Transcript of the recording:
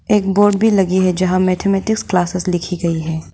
एक बोर्ड भी लगी है जहां मैथमेटिक्स क्लासेस लिखी गई है।